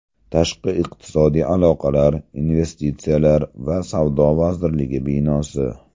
Tashqi iqtisodiy aloqalar, investitsiyalar va savdo vazirligi binosi.